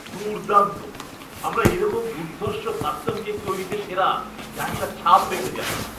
দুর্দান্ত! আমরা এরকম দুর্ধর্ষ কাস্টম কেক তৈরিতে সেরা, যা একটা ছাপ রেখে যায়।